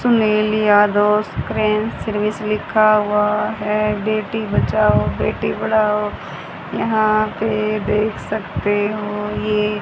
Sunil Yadav screen service लिखा हुआ है बेटी बचाओ बेटी पढ़ाओ यहां पे देख सकते हो ये--